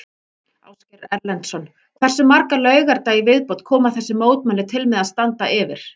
Ásgeir Erlendsson: Hversu marga laugardaga í viðbót koma þessi mótmæli til með að standa yfir?